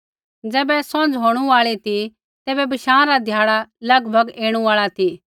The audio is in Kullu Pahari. ज़ैबै सौंझ़ होणु आल़ी ती तैबै बशाँ रा ध्याड़ा लगभग ऐणु आल़ा ती